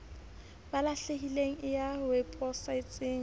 ba lahlehileng e ya weposaeteng